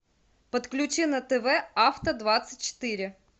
подключи на тв авто двадцать четыре